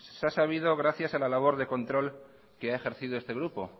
se ha sabido gracias a la labor de control que ha ejercido este grupo